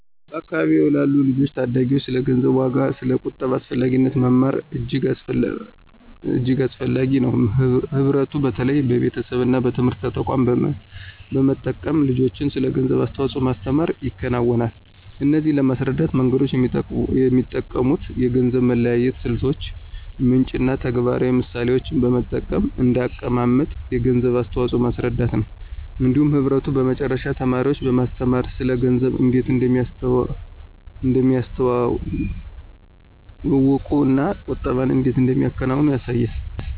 በአካባቢዎ ላሉ ልጆችና ታዳጊዎች ስለ ገንዘብ ዋጋና ስለ ቁጠባ አስፈላጊነት መማር እጅግ አስፈላጊ ነው። ህብረቱ በተለይ በቤተሰቦች እና በትምህርት ተቋማት በመጠቀም ልጆችን ስለ ገንዘብ አስተዋጽኦ ማስተምር ይከናወናል። እነዚህን ለማስረዳት መንገዶች የሚጠቀሙት የገንዘብ መለያየት ስልቶች፣ ምንጭ እና ተግባራዊ ምሳሌዎችን በመጠቀም እንደ አቀማመጥ የገንዘብ አስተዋፅኦን ማስረዳት ነው። እንዲሁም ህብረቱ በመጨረሻ ተማሪዎችን በማስተማር ስለ ገንዘብ እንዴት እንደሚያስተዋግዱ እና ቁጠባን እንዴት እንደሚያከናውኑ ያሳያል።